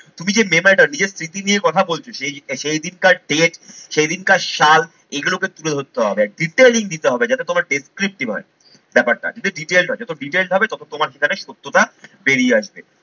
তুমি যে memory টা নিজের স্মৃতি নিয়ে কথা বলছো সেই সেইদিনকার date সেইদিনকার সাল এগুলোকে তুলে ধরতে হবে। detailing দিতে হবে যাতে তোমার হয় ব্যাপারটা। যদি detailed হয় যত detailed হবে তত তোমার সেখানে সত্যটা বেরিয়ে আসবে।